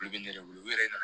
Olu bɛ ne yɛrɛ bolo u yɛrɛ nana